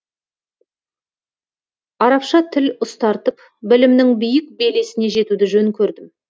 арабша тіл ұстартып білімнің биік белесіне жетуді жөн көрдім